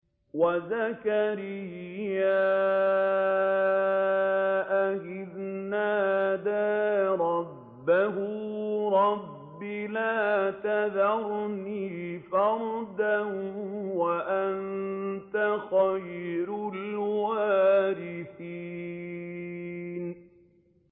وَزَكَرِيَّا إِذْ نَادَىٰ رَبَّهُ رَبِّ لَا تَذَرْنِي فَرْدًا وَأَنتَ خَيْرُ الْوَارِثِينَ